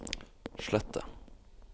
slett det